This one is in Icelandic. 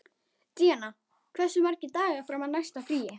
Díanna, hversu margir dagar fram að næsta fríi?